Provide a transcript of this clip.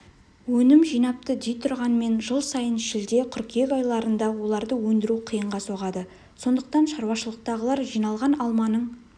өнім жинапты дейтұрғанмен жыл сайын шілде-қыркүйек айларында оларды өндіру қиынға соғады сондықтан шаруашылықтағылар жиналған алманың